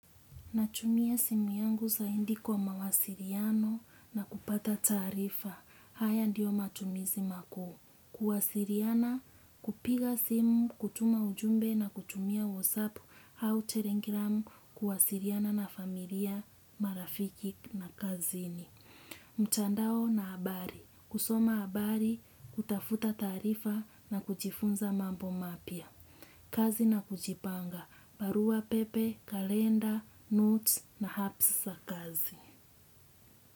Natumia simu yangu zaindi kwa mawasiriano na kupata taarifa. Haya ndiyo matumizi makuu. Kuwasiriana, kupiga simu, kutuma ujumbe na kutumia wasapu au telegram kuwasiriana na familia, marafiki na kazini. Mtandao na habari. Kusoma habari, kutafuta taarifa na kujifunza mambo mapya. Kazi na kujipanga. Barua, pepe, kalenda, notes na hasa kazi.